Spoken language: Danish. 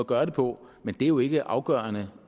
gøre det på men det er jo ikke afgørende